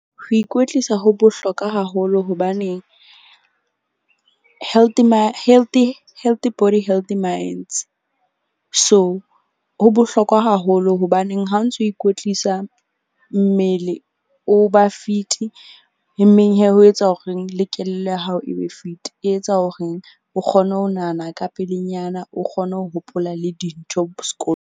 Ho ikwetlisa ho bohlokwa haholo hobaneng healthy body healthy minds. So, ho bohlokwa haholo hobaneng ha o ntso ikwetlisa mmele, o ba fit-i. Emeng ho etsa horeng le kelello ya hao e be fit-i. E etsa hore o kgone ho nahana ka pelenyana, o kgone ho hopola le dintho .